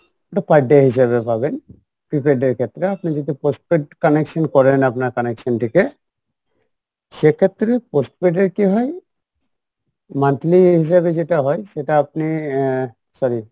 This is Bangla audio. ওটা per day হিসাবে পাবেন prepaid এর ক্ষেত্রে আপনি যদি post paid connection করেন আপনার connection থেকে সেক্ষেত্রে post paid এর কী হয়, monthly হিসেবে যেটা হয় সেটা আপনি আহ sorry